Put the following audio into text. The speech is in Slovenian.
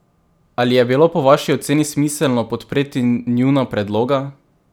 Ali je bilo po vaši oceni smiselno podpreti njuna predloga?